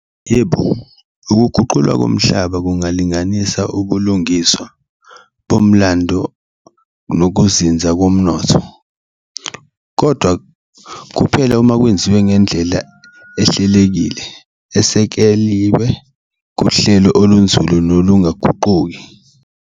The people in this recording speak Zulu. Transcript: Yebo, ukuguqulwa komhlaba kungalinganisa ubulungiswa bomlando nokuzinza komnotho kodwa kuphela uma kwenziwe ngendlela ehlelekile, esekeliwe kuhlelo olunzulu nolungaguquki.